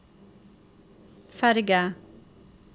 ferge